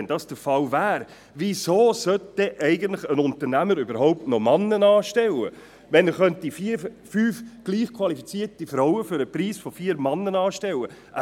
Wenn dies der Fall wäre, wieso sollte ein Unternehmer dann überhaupt noch Männer einstellen, wenn er fünf gleich qualifizierte Frauen zum Preis von vier Männern einstellen könnte?